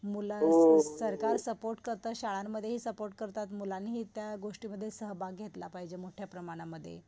मुलांस सरकार सपोर्ट करत, शाळांमध्येही सपोर्ट करतात. मुलांनीही त्या गोष्टींमध्ये सहभाग घेतला पाहिजे मोठ्याप्रमाणमध्ये.